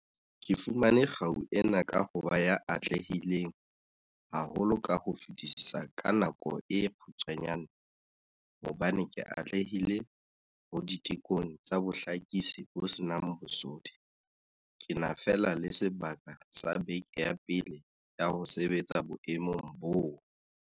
Ke fumane kgau ena ka ho ba ya atlehileng haholo ka ho fetisisa ka nako e kgutshwanyane hobane ke atlehile ho ditekong tsa bohlakisi bo se nang bosodi ke na fela le sebaka sa bekeng ya pele ya ho sebetsa boemong boo.